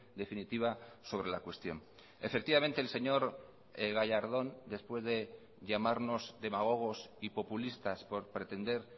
definitiva sobre la cuestión efectivamente el señor gallardón después de llamarnos demagogos y populistas por pretender